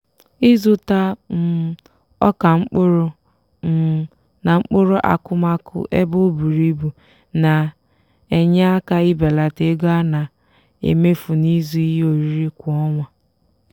ịzụta um ọka mkpụrụ um na mkpụrụ akụmakụ ebe o bùrù ibù na-enye aka ibelata ego a na-emefu n'ịzụ ihe oriri kwa ọnwa.